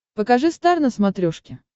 покажи стар на смотрешке